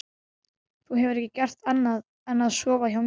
Þú hefur ekki gert annað en að sofa hjá mér.